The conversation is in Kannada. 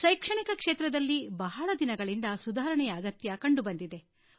ಶೈಕ್ಷಣಿಕ ಕ್ಷೇತ್ರದಲ್ಲಿ ಬಹಳ ದಿನಗಳಿಂದ ಸುಧಾರಣೆಯ ಅಗತ್ಯ ಕಂಡುಬಂದಿದೆ